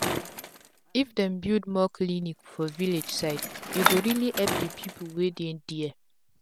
if dem build more clinic for village side e go reli epp d pipu wey dey dere